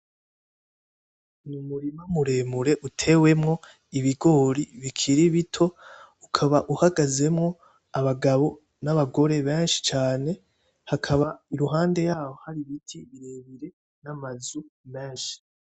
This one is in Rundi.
Ni umurima muremure utewemwo ibigori bikiri bito, ukaba uhagazemwo abagabo n'abagore benshi cane, hakaba iruhande yaho hari ibiti birebire n'amazu menshi.